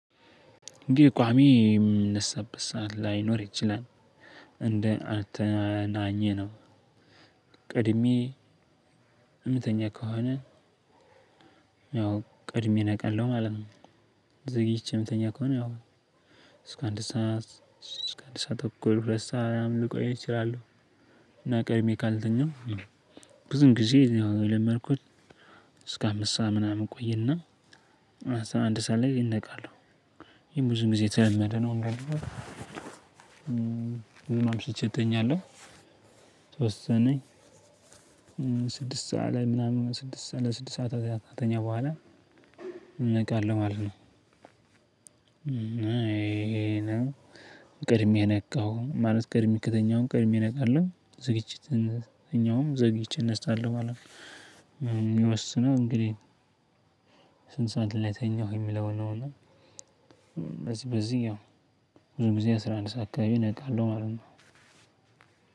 ቋሚ የምነሳበት ሰዓት ላይኖር ይችላል። እንደ አተኛኜ ነው። ቀድሜ የምተኛ ከሆኔ ያው ቅድሜ ነቃለሁ ማለት ነው። ዘግይቼ የምተኛ ከሆነ ያው እስከ አንድ ሰዓት እስከ አንድ ሰዓት ተኩን ሁለት ሰዓት ልቆይ እችላለሁ። እና ቀድሜ ካልተኛው ብዙም ጊዜ እኔ የለመድኩት እስከ አምስት ሰዓት ምናምን እቆይና አስራ አንድ ሰዓት ላእንነቃለሁ። ይሄ ብዙ ጊዜ የተለመደ ነው። ወይ ደግሞ አምሽቼ እተኛለሁ። የተወሰነ ስድስት ሰዓት ላይ ምናምን ስድስት ሰዓት ለስድስት ሰዓት ከዛ ከተኛው በኋላ እነቃለሁ ማለት ነው። እና ይሄ ነው ቅድሜ ነቃሁ ማለት ቀድመ ከተኛሁ ቀድመ ነቃለሁ። ዘግይቼ እነስአለሁ ማለት ነው እሚወስነው እንግዲህ ስንት ሰዓት ላይ ተኛሁ የሚለው ነው እና በዚህ በዚህ ያው ብዙ ጊዜ አስራ አንድ ሰዓት አካባቢ እነቃለው ማለት ነው።